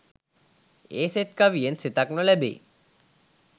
ඒ සෙත් කවියෙන් සෙතක් නොලැබේ.